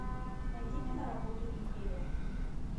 найди киноработу империя